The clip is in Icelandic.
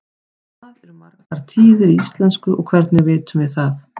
hvað eru margar tíðir í íslensku og hvernig vitum við það